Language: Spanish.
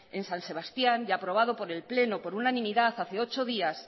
en san sebastián y aprobado por el pleno por unanimidad hace ocho días